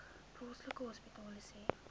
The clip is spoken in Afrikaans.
plaaslike hospitale sê